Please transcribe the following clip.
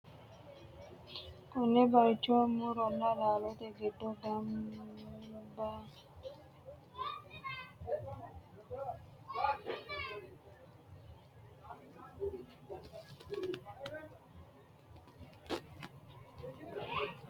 konne bayicho muronna laalote giddo gamantannoti su'maseno burtukaanete yinannita ikkitanna, tini burtukaaneno faayya gede le'inota ikkitanna, mite uulla no mite haqqichote iima no.